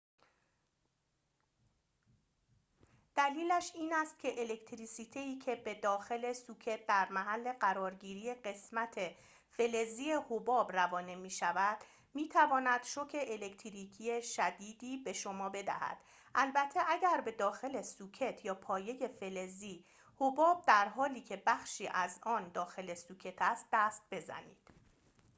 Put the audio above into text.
دلیلش این است که الکتریسیته‌ای که به داخل سوکت در محل قرارگیری قسمت فلزی حباب روانه می‌شود می‌تواند شوک الکتریکی شدیدی به شما بدهد البته اگر به داخل سوکت یا پایه فلزی حباب در حالی که بخشی از آن داخل سوکت است دست بزنید